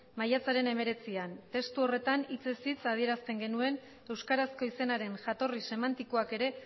maiatzaren hemeretzian testu horretan hitzez hitz adierazten genuen euskarazko izenaren jatorri semantikoak ere